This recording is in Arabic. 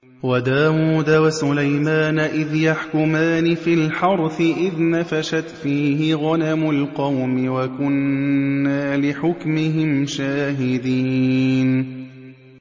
وَدَاوُودَ وَسُلَيْمَانَ إِذْ يَحْكُمَانِ فِي الْحَرْثِ إِذْ نَفَشَتْ فِيهِ غَنَمُ الْقَوْمِ وَكُنَّا لِحُكْمِهِمْ شَاهِدِينَ